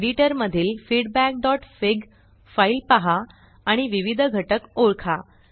editor मधील feedbackफिग फीडबॅकफिगफाइल पहा आणि विविध घटक ओळखा